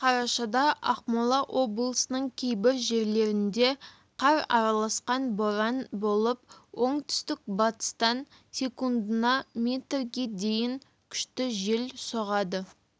қарашада ақмола облысының кейбір жерлерінде қар араласқан боран болып оңтүстік-батыстан секундына метрге дейін күшті жел соғады